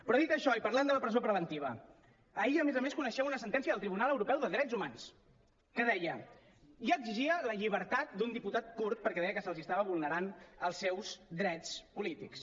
però dit això i parlant de la presó preventiva ahir a més a més coneixíem una sentència del tribunal europeu de drets humans que deia i exigia la llibertat d’un diputat kurd perquè deia que se li estaven vulnerant els seus drets polítics